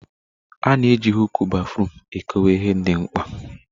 A na eji huụkụ béfrụm ekọwe ihe ndị mkpa.